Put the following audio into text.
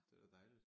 Det er da dejligt